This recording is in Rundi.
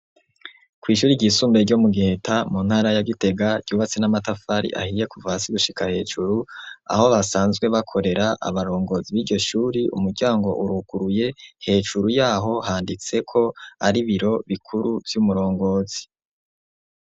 Kw'ishure ryisumbuye ryo mu Giheta mu ntara ya Gitega ryubatse n'amatafari ahiye kuva hasi gushika hejuru aho basanzwe bakorera abarongozi b'iryo shure. Umuryango uruguruye hejuru yaho handitseho ko ari ibiro bikuru vy'umurongozi.